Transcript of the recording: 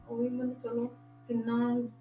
ਉਹੀ ਮਤਲਬ ਚਲੋ ਕਿੰਨਾ,